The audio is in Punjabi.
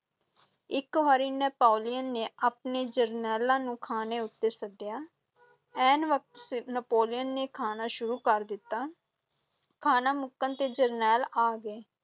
ਇਕ ਵਾਰੀ ਨੈਪੋਲੀਅਨ ਨੇ ਆਪਣੇ ਜਰਨੈਲਾਂ ਨੂੰ ਖਾਣੇ ਉੱਤੇ ਸੱਦਿਆ ਐਨ ਵਕਤ ਸਿਰ ਨੈਪੋਲੀਅਨ ਨੇ ਖਾਣਾ ਸ਼ੁਰੂ ਕਰ ਦਿੱਤਾ, ਖਾਣਾ ਮੁੱਕਣ ਤੇ ਜਰਨੈਲ ਆ ਗਏ।